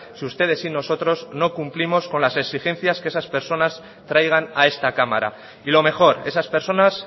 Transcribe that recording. si ustedes y nosotros no cumplimos con las exigencias que esas personas traigan a esta cámara y lo mejor esas personas